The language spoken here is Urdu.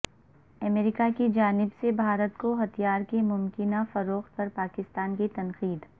امریکہ کی جانب سے بھارت کو ہتھیاروں کی ممکنہ فروخت پر پاکستان کی تنقید